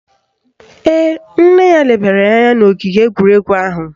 Ee, nne ya lebara ya anya n' ogige egwuregwu ahụ